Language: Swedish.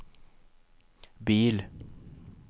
bil